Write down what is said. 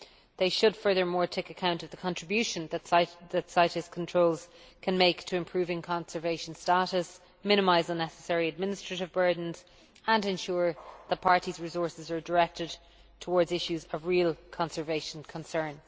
They should, furthermore, take account of the contribution that CITES controls can make to improving conservation status, minimise unnecessary administrative burdens and ensure that the parties' resources are directed towards issues of real conservation concern.